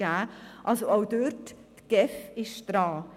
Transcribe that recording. Also auch dort: Die GEF ist dran.